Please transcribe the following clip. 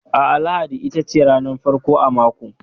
A'a, lahadi itace ranar farko a mako.